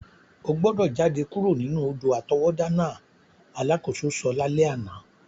O gbọ́dọ̀ jade kuro nínú odò-àtọwọ́dá náà! alakoso so lalẹ àná.